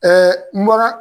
n bɔra